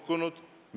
Kell on 14.00.